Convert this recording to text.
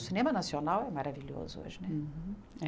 O cinema nacional é maravilhoso hoje, né?